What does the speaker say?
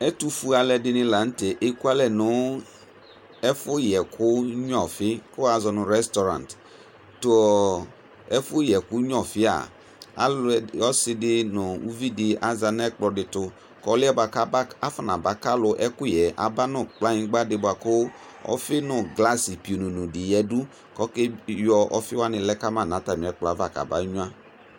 ɛtu foélé dini lă tɛ éku alɛ nu ɛfu yɛku nyɔfi ku woazunu resraurente tu ɛfu nyɛku nyɔfia ɔsidi nu uvidi aza nɛ kplɔ di tu kɔ ɔluɛ ka fɔnabaka ɔlu ɛkuyɛ abanu kplanyigba di boa ku ɔfi nu glasi pinono di yadu kɔ ka yɔ ɔfi woani lɛ kama na tami ɛkplɔ va kabé nyua